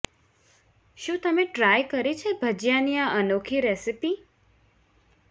શું તમે ટ્રાય કરી છે ભજીયાની આ અનોખી રેસિપી